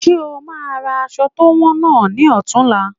Ṣe o máa ra aṣọ to wọn náà ni ọ̀tunla?